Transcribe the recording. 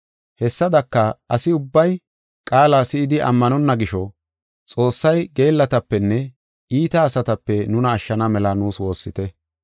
Hessadaka, asi ubbay qaala si7idi ammanonna gisho, Xoossay geellatapenne iita asatape nuna ashshana mela nuus woossite.